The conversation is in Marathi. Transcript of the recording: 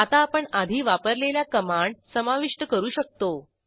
आता आपण आधी वापरलेल्या कमांड समाविष्ट करू शकतो